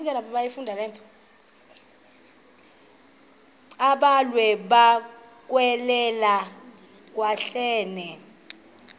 abhalwe bukekela hekwane